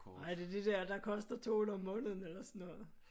Ej er det det dér der koster 200 om måneden eller sådan noget?